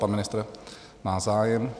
Pan ministr má zájem.